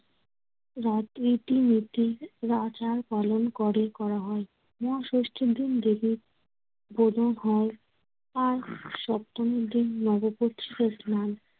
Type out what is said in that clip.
রাত ইতিমধ্যেই পালন করে করা হয়। মহাষষ্টির দিন দেবীর বোধন হয়। আর সপ্তমীর দিন নব প্রতিষ্ঠার স্নান।